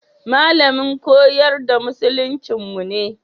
Malamin koyar da musuluncinmu ne.